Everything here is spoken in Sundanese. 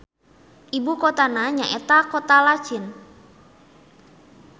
Ibu kotana nyaeta Kota Lachin.